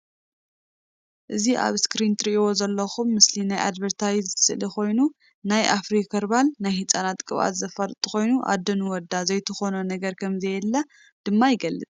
እዚ ኣብ እስክሪን እትሪእዎ ዘለኩም ምስሊ ናይ ኣድቨርታይዝ ስእሊ ኮይኑ ናይ ኣፍሪ ኸርባል ናይ ህፃናት ቅብኣት ዘፋልጥ ኮይኑ ኣዶ ንወዳ ዘይትኮኖ ነገር ከም ዘየለ ድማ ይገልፅ።